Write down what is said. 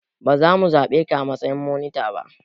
Ba za mu zaɓe ka a matsayin monita ba.